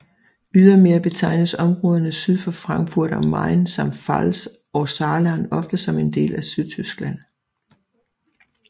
Ydermere betegnes områderne syd for Frankfurt am Main samt Pfalz og Saarland ofte som en del af Sydtyskland